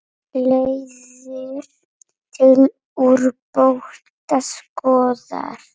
Leiðir til úrbóta skoðar.